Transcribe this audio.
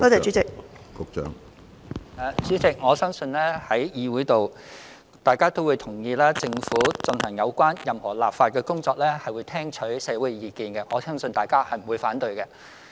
主席，我深信在議會內，大家也同意政府進行任何立法工作時，均會聽取社會意見，我相信大家不會反對這一點。